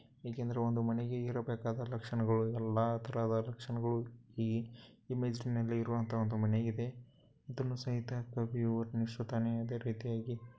ಏಕೆಂದರೆ ಒಂದು ಮನೆಗೆ ಇರಬೇಕಾದ ಲಕ್ಷಣಗಳು ಎಲ್ಲಾತರದ ಲಕ್ಷಣಗಳು. ಈ ಇಮೇಜ್ ನಲ್ಲಿ ಇರೋವಂಥಹ ಒಂದು ಮನೆಗೆ ಇದೆ ಇದನ್ನು ಸಹಿತ ಕವಿಯು ವರ್ಣಿಸುತಾನೇ ಅದೇ ರೀತಿಯಾಗಿ --